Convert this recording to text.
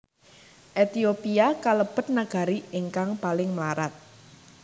Ehtiopia kalebet nagari ingkang paling mlarat